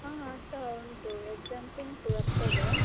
ಹಾ ಆಗ್ತಾ ಉಂಟು exams ಉಂಟು ಬರ್ತದೆ.